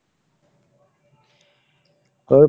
ওহ ,